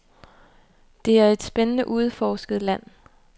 Det er et spændende, uudforsket land.